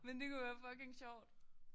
Men det kunne jo være fucking sjovt